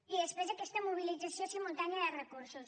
i després aquesta mobilització simultània de recursos